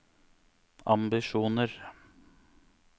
ambisjoner